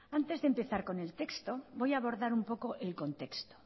antes de empezar con el texto voy a abordar un poco el contexto